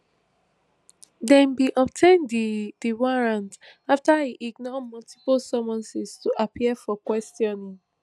dem bin obtain di di warrant afta e ignore multiple summonses to appear for questioning